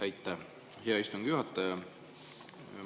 Aitäh, hea istungi juhataja!